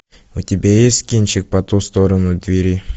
у тебя есть кинчик по ту сторону двери